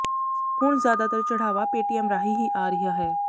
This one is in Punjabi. ਹੁਣ ਜ਼ਿਆਦਾਤਰ ਚੜ੍ਹਾਵਾ ਪੇਟੀਐੱਮ ਰਾਹੀਂ ਹੀ ਆ ਰਿਹਾ ਹੈ